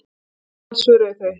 Til Indlands, svöruðu þau.